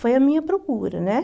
Foi a minha procura, né?